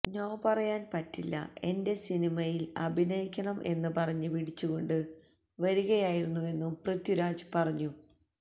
no പറയാന് പറ്റില്ല എന്റെ സിനിമയില് അഭിനയിക്കണം എന്ന് പറഞ്ഞ് പിടിച്ച് കൊണ്ട് വരികയായിരുന്നുവെന്നും പൃഥ്വിരാജ് പറഞ്ഞു